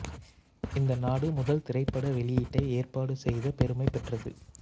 இந்த நாடு முதல் திரைப்பட வெளியீட்டை ஏற்பாடு செய்த பெருமை பெற்றது